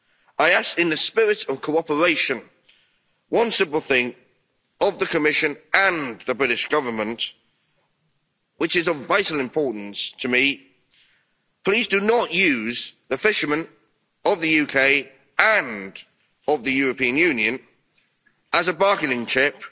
I ask, in the spirit of cooperation, one simple thing of the Commission and the British Government, which is of vital importance to me please do not use the fishermen of the UK and of the European Union as a bargaining